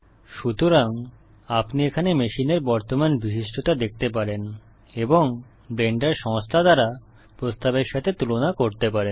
সুতরাং আপনি এখানে মেশিনের বর্তমান বিশিষ্টতা দেখতে পারেন এবং ব্লেন্ডার সংস্থা দ্বারা প্রস্তাবের সাথে তুলনা করতে পারেন